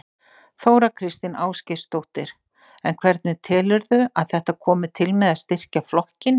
Þóra Kristín Ásgeirsdóttir: En hvernig telurðu að þetta komi til með að styrkja flokkinn?